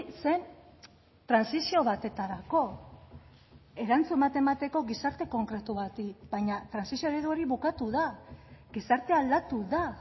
zen trantsizio batetarako erantzun bat emateko gizarte konkretu bati baina trantsizio eredu hori bukatu da gizartea aldatu da